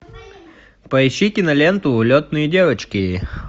поищи киноленту улетные девочки